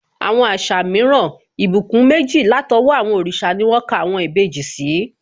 Àwọn àṣà mìíràn, ìbùkún méjì látọwọ́ àwọn òrìṣà ni wón ka àwọn ìbejì sí